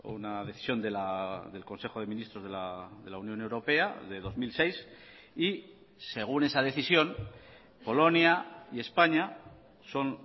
una decisión del consejo de ministros de la unión europea de dos mil seis y según esa decisión polonia y españa son